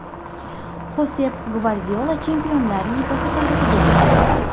Xosep Gvardiola Chempionlar Ligasi tarixiga kirdi.